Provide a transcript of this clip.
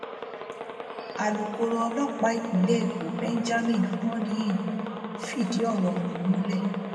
alūkkóró ọlọpàá ìpínlẹ èkó benjamin hondnyin fìdí ọrọ ọhún múlẹ